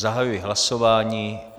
Zahajuji hlasování.